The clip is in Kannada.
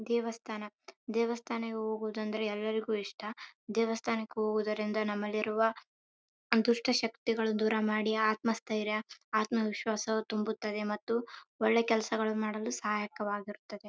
ಇದು ಹಂಪಿಯ ಒಂದು ದೇವಸ್ಥಾನ ಇದು ಇದು ಬಹಳ ಹಳೆಯ ದೇವಸ್ಥಾನ.